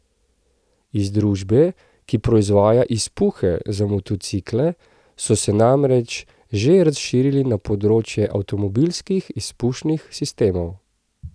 Iz družbe, ki proizvaja izpuhe za motocikle, so se namreč že razširili na področje avtomobilskih izpušnih sistemov.